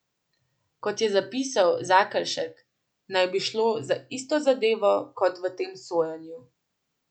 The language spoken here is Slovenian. Kot je zapisal Zakelšek, naj bi šlo za isto zadevo kot v tem sojenju.